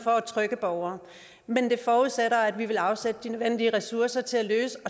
og trygge borgere men det forudsætter at vi vil afsætte de nødvendige ressourcer til at løse